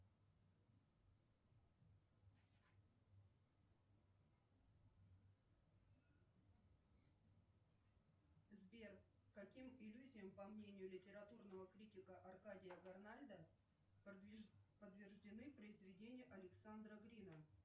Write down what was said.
сбер каким иллюзиям по мнению литературного критика аркадия горнальда подвержены произведения александра грина